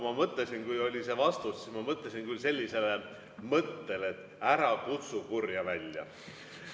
Aga kui oli see vastus, siis ma mõtlesin küll sellisele, et ära kutsu kurja välja.